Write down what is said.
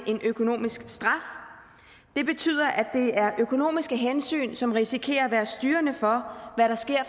økonomisk straf det betyder at det er økonomiske hensyn som risikerer at være styrende for hvad der sker